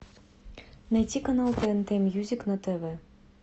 найти канал тнт мьюзик на тв